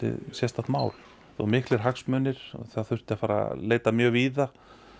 sérstakt mál og miklir hagsmunir og það þurfti að leita mjög víða